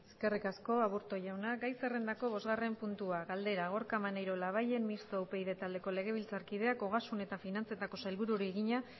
eskerrik asko aburto jauna gai zerrendako bosgarren puntua galdera gorka maneiro labayen mistoa upyd taldeko legebiltzarkideak ogasun eta finantzetako sailburuari egina